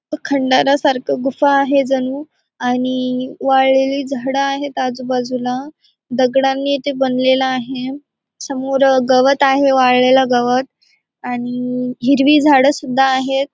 अ खंडारा सारखं गुफा आहे जणू आणि वाळलेली झाडं आहेत आजूबाजूला. दगडांनी ते बनलेला आहे. समोर गवत आहे वाळलेला गवत आणि हिरवी झाडं सुद्धा आहेत.